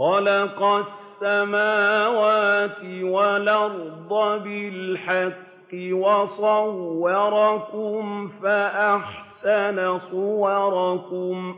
خَلَقَ السَّمَاوَاتِ وَالْأَرْضَ بِالْحَقِّ وَصَوَّرَكُمْ فَأَحْسَنَ صُوَرَكُمْ ۖ